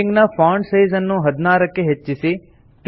heading ನ font size ನ್ನು 16 ಕ್ಕೆ ಹೆಚ್ಚಿಸಿ